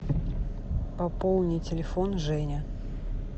пополни телефон женя